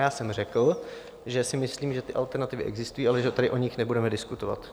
Já jsem řekl, že si myslím, že ty alternativy existují, ale že tady o nich nebudeme diskutovat.